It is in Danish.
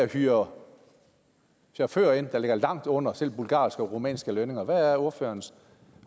hyrer chauffører ind til langt under selv bulgarske og rumænske lønninger hvad er ordførerens